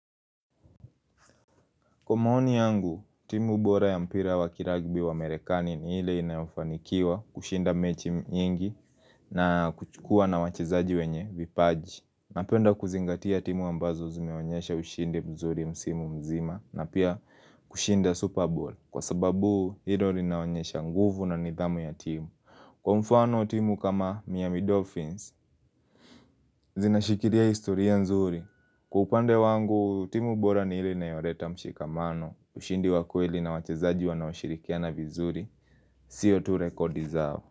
Kwa maoni yangu, timu bora ya mpira wa kiragibi wa merekani ni hile inafanikiwa kushinda mechi nyigi na kuchukua na wachizaji wenye vipaji. Napenda kuzingatia timu ambazo zimeonyesha ushindi mzuri msimu mzima na pia kushinda Super Bowl kwa sababu hilo linaonyesha nguvu na nidhamu ya timu. Kwa mfano timu kama Miami Dolphins, zinashikilia historia nzuri. Kwa upande wangu, timu bora ni hile inayoleta mshikamano, ushindi wakweli na wachezaji wanaoshirikiana vizuri. Sio tu rekodi zao.